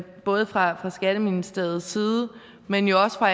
både fra skatteministeriets side men jo også fra